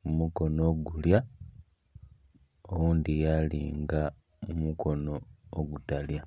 kumukono ogulya oghundhi yalinga kumukono ogutalya.